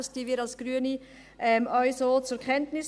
Das nehmen wir Grüne auch so zur Kenntnis.